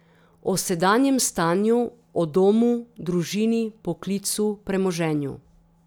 O sedanjem stanju, o domu, družini, poklicu, premoženju.